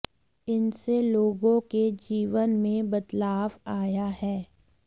इनसें लोगों के जीवन में बदलाव आया है